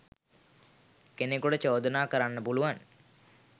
කෙනෙකුට චෝදනා කරන්න පුළුවන්.